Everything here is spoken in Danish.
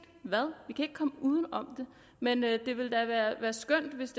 hvad vi kan ikke komme uden om det men det ville da være skønt hvis